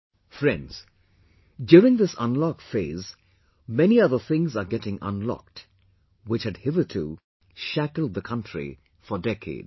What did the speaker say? Friends, during this unlock phase, many other things are getting unlocked, which had hitherto, shackled the country for decades